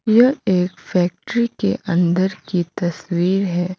यह एक फैक्ट्री के अंदर की तस्वीर है।